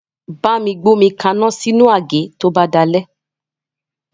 Bámi gbé omi kaná sínú àgé to bá délé